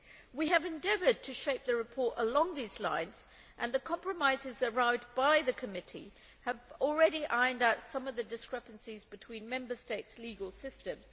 We have endeavoured to shape the report along these lines and the compromises arrived at by the committee have already ironed out some of the discrepancies between Member States' legal systems.